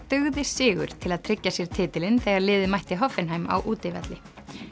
dugði sigur til að tryggja sér titilinn þegar liðið mætti á útivelli pia